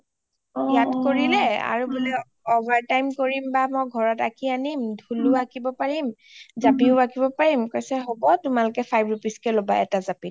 ইয়াত কৰিলে আৰু বুলে overtime কৰিম বা ঘৰত আঁকি আনিম বা ঢোলও আঁকিব পাৰিম জাপিও আঁকিব পাৰিম কৈছে হব তোমালোকে five rupees কে লবা এটা জাপিত